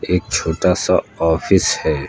एक छोटा सा ऑफिस है।